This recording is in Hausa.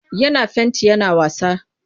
Yana fenti yana wasa.